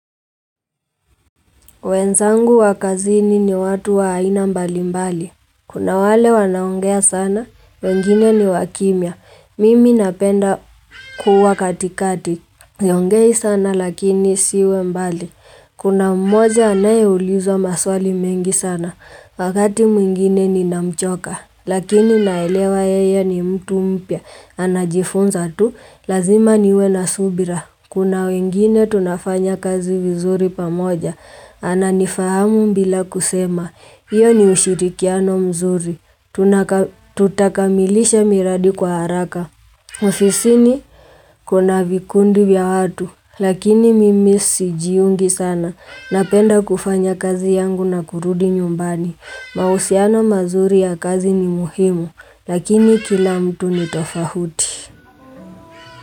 Wenzangu wakazini ni watu waina mbali mbali. Kuna wale wanaongea sana, wengine ni wakimya. Mimi napenda kuwa katikati. Siongei sana lakini siwe mbali. Kuna mmoja anaye ulizwa maswali mengi sana, wakati mwingine ni namchoka. Lakini naelewa yeye ni mtu mpya, anajifunza tu, lazima niwe na subira. Kuna wengine tunafanya kazi vizuri pamoja, ananifahamu bila kusema, iyo ni ushirikiano mzuri, tutakamilisha miradi kwa haraka. Ofisi ni kuna vikundi bia watu, lakini mimisi jiungi sana, napenda kufanya kazi yangu na kurudi nyumbani. Mausiano mazuri ya kazi ni muhimu Lakini kila mtu ni tofahuti.